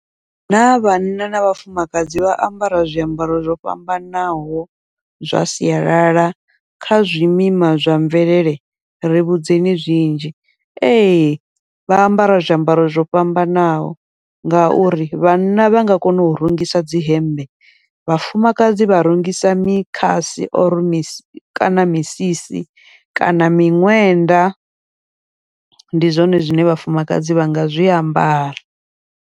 Na vhanna na vhafumakadzi vha ambara zwiambaro zwo fhambanaho zwa sialala kha zwimima zwa mvelele ri vhudzekani zwinzhi, ee vha ambara zwiambaro zwo fhambanaho ngauri vhanna vha nga kona u rungisa dzi hembe, vhafumakadzi vha rungisa mikhasi or mi kana misisi kana miṅwenda ndi zwone zwine vhafumakadzi vha nga zwiambara.